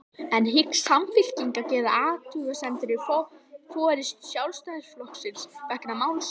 En hyggst Samfylkingin gera athugasemdir við forystu Sjálfstæðisflokksins vegna málsins?